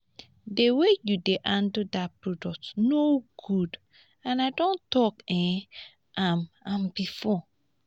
the way you dey handle dat product no good and i don talk um am am before